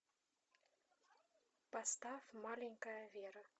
поставь маленькая вера